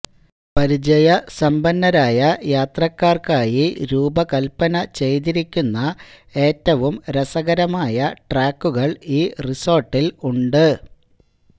പരിചയസമ്പന്നരായ യാത്രക്കാർക്കായി രൂപകൽപ്പന ചെയ്തിരിക്കുന്ന ഏറ്റവും രസകരമായ ട്രാക്കുകൾ ഈ റിസോർട്ടിൽ ഉണ്ട്